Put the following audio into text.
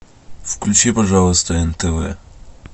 включи пожалуйста нтв